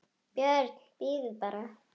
BJÖRN: Bíðið bara!